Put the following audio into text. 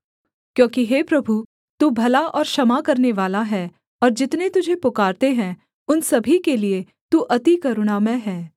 क्योंकि हे प्रभु तू भला और क्षमा करनेवाला है और जितने तुझे पुकारते हैं उन सभी के लिये तू अति करुणामय है